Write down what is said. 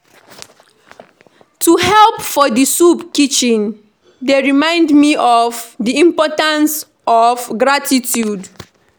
To help for di soup kitchen dey remind me of di importance of gratitude.